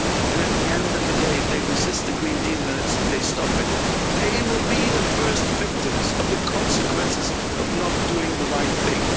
And at the end of the day, if they resist the Green Deal and they stop it, they will be the first victims of the consequences of not doing the right thing.